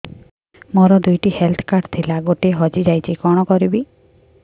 ମୋର ଦୁଇଟି health card ଥିଲା ଗୋଟିଏ ହଜି ଯାଇଛି କଣ କରିବି